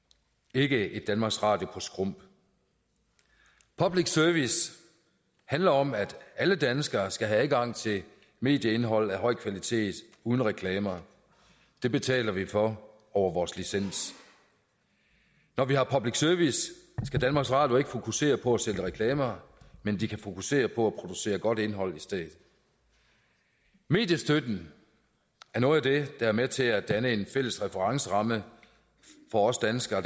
ikke et danmarks radio på skrump public service handler om at alle danskere skal have adgang til medieindhold af høj kvalitet uden reklamer det betaler vi for over vores licens når vi har public service skal danmarks radio ikke fokusere på at sende reklamer men de kan fokusere på at producere godt indhold i stedet mediestøtten er noget af det der er med til at danne en fælles referenceramme for os danskere